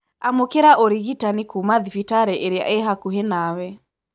Amũkĩra ũrigitani kuma thibitarĩĩrĩa ĩhakuhĩnawe.